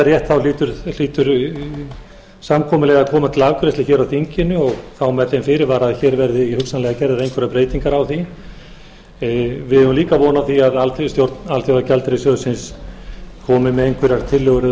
rétt þá hlýtur samkomulagið að koma til afgreiðslu hér á þinginu og þá með þeim fyrirvara að hér verði hugsanlega gerðar einhverjar breytingar á því við eigum líka von á því að stjórn alþjóðagjaldeyrissjóðsins komi með einhverjar tillögur eða